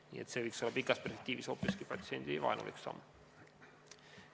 Nii et see võiks olla kaugemas perspektiivis hoopiski patsiendivaenulik samm.